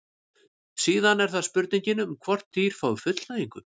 síðan er það spurningin um hvort dýr fái fullnægingu